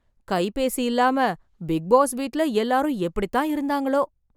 கைபேசி இல்லாம, Bigg Boss வீட்ல எல்லாரும் எப்டிதான் இருந்தாங்களோ...